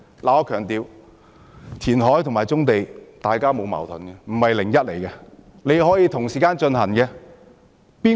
我想強調，填海和棕地之者完全沒有矛盾，可以同時進行。